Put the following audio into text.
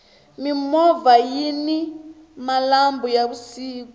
mimovha yini malambhu ya vusiku